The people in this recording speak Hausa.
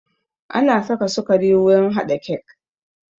Ana saka sukari wurin haɗa kek